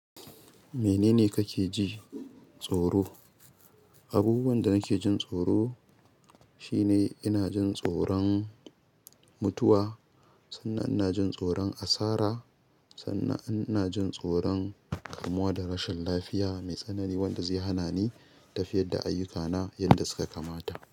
Menene kake ji tsoro? Abubuwan da nake jin tsoro shine ina jin tsoron mutuwa, sannan ina jin tsoron asara, sannan ina jin tsoron kamuwa da rashin lafiya mai tsanani wanda zai hana ni tafiyar da ayyukana yadda suka kamata.